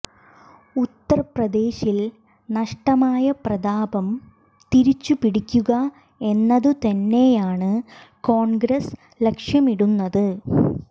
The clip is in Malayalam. ഉത്തർപ്രദേശിൽ നഷ്ടമായ പ്രതാപം തിരിച്ചു പിടിക്കുക എന്നതു തന്നെയാണ് കോൺഗ്രസ് ലക്ഷ്യമിടുന്നത്